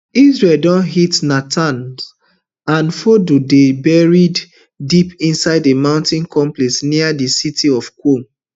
israel don hit natanz and fordo dey buried deep within a mountain complex near di city of qom